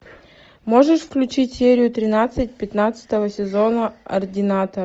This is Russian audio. можешь включить серию тринадцать пятнадцатого сезона ординатор